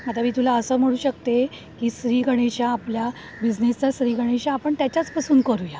आता मी तुला असं म्हणू शकते की श्रीगणेशा आपल्या बिझनेसचा श्रीगणेशा आपण त्याच्याच पासून करूया.